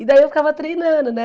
E daí eu ficava treinando, né?